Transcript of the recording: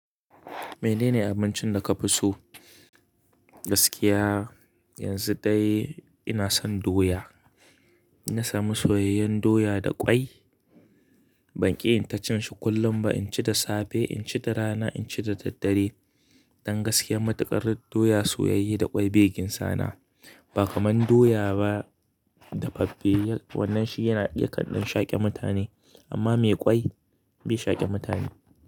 Mene ne abincin da ka fi so? Gaskiya yanzu dai ina son doya. Inna sami soyayyen doya da ƙwai. Ban ƙi in ta cin shi kullum ba. In ci da safe, in ci da rana, in ci da daddare. Dan gaskiya matuƙar doya soyayye da ƙwai be gin sana. Ba kaman doya ba dafaffe wannan shi yana i ya kanɗan shaƙe mutane, amma mai ƙwai bai shaƙe mutane.